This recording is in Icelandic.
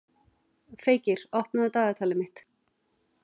Feykir, opnaðu dagatalið mitt.